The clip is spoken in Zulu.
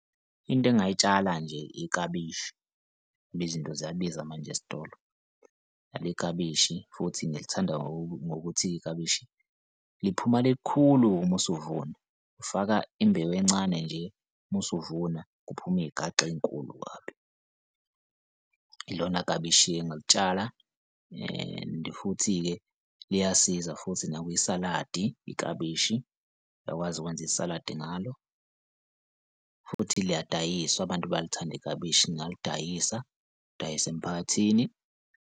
Into engay'tshala nje iklabishi, ngoba izinto ziyabiza manje esitolo leli klabishi futhi ngilithanda ngokuthi iklabishi liphuma lilikhulu uma usuvuma ufaka imbewu encane nje uma usuvuna kuphume iy'gaxa ey'nkulu kabi. Ilona klabishi-ke engalitshala. And futhi-ke liyasiza futhi nakwisaladi iklabishi uyakwazi ukwenza isaladi ngalo futhi liyadayisa abantu bayalithanda iklabishi ngingalidayisa ngidayise emiphakathini.